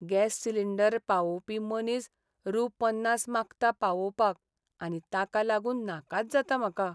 Gas cylinder पावोवपी मनीस रु. पन्नास मागता पावोवपाक आनी ताका लागून नाकाच जाता म्हाका.